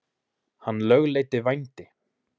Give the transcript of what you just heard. hann lögleiddi vændi